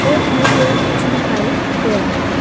और हमें बहोत कुछ दिखाई दे रहा है।